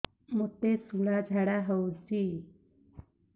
ମୋତେ ଶୂଳା ଝାଡ଼ା ହଉଚି